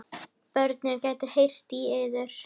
Börnin gætu heyrt í yður.